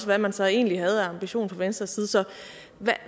hvad man så egentlig havde af ambition fra venstres side så